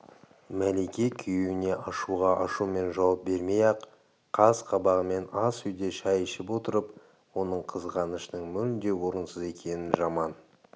мәлике күйеуіне ашуға ашумен жауап бермей-ақ қас-қабағымен ас үйде шай ішіп отырып оның қызғанышының мүлде орынсыз екенін жаман